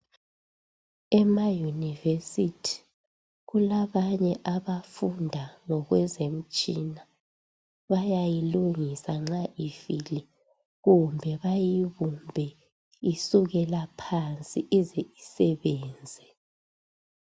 EmaYunivesithi kulabanye abafunda ngokwezemitshina bayayilungisa nxa ifile kumbe bayibumbe isukela phansi ize isebenze .